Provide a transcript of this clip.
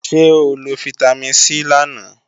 Ṣé o lo fítámìn C lánàá?